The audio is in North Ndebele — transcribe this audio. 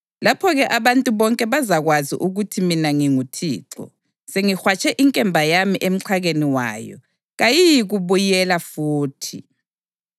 Lapho-ke abantu bonke bazakwazi ukuthi mina nginguThixo sengihwatshe inkemba yami emxhakeni wayo, kayiyikubuyela futhi.’